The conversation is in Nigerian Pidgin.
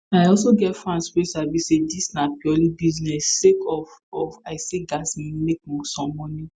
i also get fans wey sabi say dis na purely business sake of of i say gatz make some moni